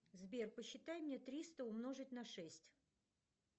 сбер посчитай мне триста умножить на шесть